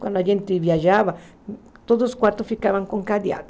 Quando a gente viajava, todos os quartos ficavam com cadeado.